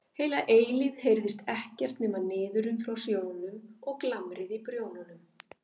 Heila eilífð heyrðist ekkert nema niðurinn frá sjónum og glamrið í prjónunum.